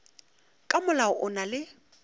ka molao o na le